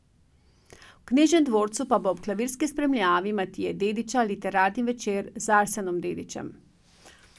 V Knežjem dvorcu pa bo ob klavirski spremljavi Matije Dedića literarni večer z Arsenom Dedićem.